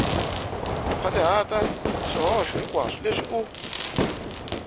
nkhwatihata swihoxo hinkwaswo leswi u